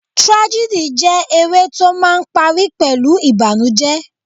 Tragedy jẹ́ eré tó máà ń parí pẹ̀lú ìbànújẹ.